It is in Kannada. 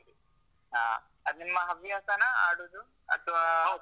ಹ. ಅದು ನಿಮ್ಮ ಹವ್ಯಾಸನಾ ಆಡುದು